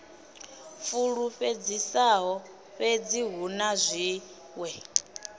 fulufhedzisaho fhedzi hu na zwiṅwe